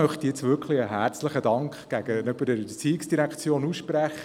Ich möchte diesbezüglich der ERZ einen herzlichen Dank aussprechen.